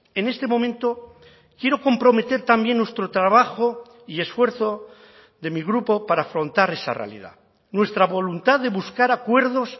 en este momento quiero comprometer también nuestro trabajo y esfuerzo de mi grupo para afrontar esa realidad nuestra voluntad de buscar acuerdos